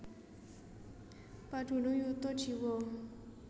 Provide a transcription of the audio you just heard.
Padunung yuta jiwa